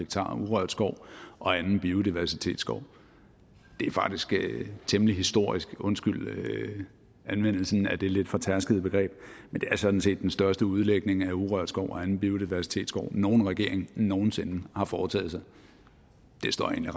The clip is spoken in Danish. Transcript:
urørt skov og anden biodiversitetsskov det er faktisk temmelig historisk undskyld anvendelsen af det lidt fortærskede begreb men det er sådan set den største udlægning af urørt skov og anden biodiversitet nogen regering nogen sinde har foretaget det står jeg